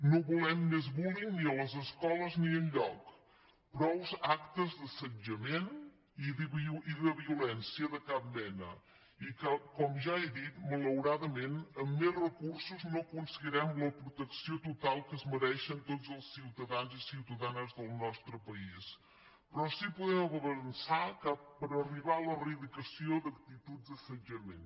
no volem més bullyingactes d’assetjament i de violència de cap mena i que com ja he dit malauradament amb més recursos no aconseguirem la protecció total que es mereixen tots els ciutadans i ciutadanes del nostre país però sí podem avançar que per arribar a l’eradicació d’actituds d’assetjament